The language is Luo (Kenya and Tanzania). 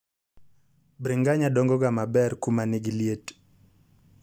bringanya dongo ga maber kuma nigiliet.